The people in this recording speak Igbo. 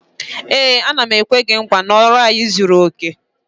Ee, m na-ekwe gị nkwa na ọrụ anyị zuru oke